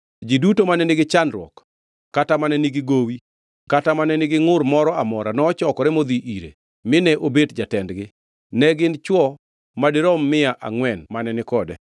Ji duto mane nigi chandruok kata mane nigi gowi kata nigi ngʼur moro amora nochokore modhi ire, mine obet jatendgi. Ne gin chwo madirom mia angʼwen mane ni kode.